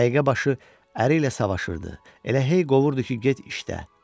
Dəqiqə başı əri ilə savaşırdı, elə hey qovurdu ki, get işlə.